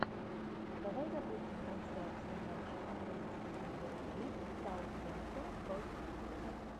давай запустим трансляцию матча английской премьер лиги саутгемптон против сити